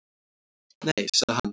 Nei, sagði hann.